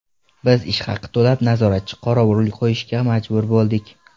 Biz ish haqi to‘lab nazoratchi-qorovul qo‘yishga majbur bo‘ldik.